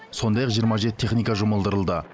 сондай ақ жиырма жеті техника жұмылдырылды